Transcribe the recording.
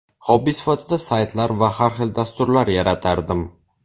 Xobbi sifatida saytlar va har xil dasturlar yaratardim.